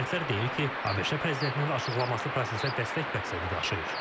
Ekspertlər deyir ki, ABŞ prezidentinin açıqlaması prosesə dəstək məqsədi daşıyır.